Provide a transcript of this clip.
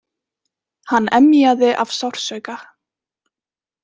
Hann emjaði af sársauka.